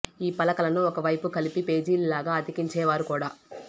ఈ పలకలను ఒక వైపు కలిపి పేజీల లాగా అతికించేవారు కూడా